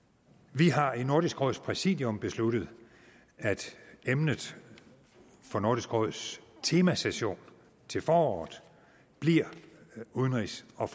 vi har i nordisk råds præsidium besluttet at emnet for nordisk råds temasession til foråret bliver udenrigs og